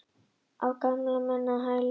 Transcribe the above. Á gamalmennahæli í Þýskalandi?